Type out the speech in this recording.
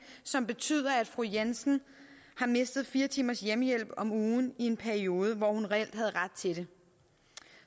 som betyder at fru jensen har mistet fire timers hjemmehjælp om ugen i en periode hvor hun reelt havde ret til det